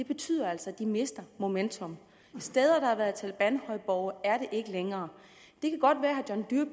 betyder altså at de mister momentum steder der har været talebanhøjborge er ikke talebanhøjborge længere det kan godt være